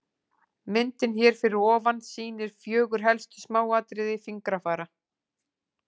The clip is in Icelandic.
Myndin hér fyrir ofan sýnir fjögur helstu smáatriði fingrafara.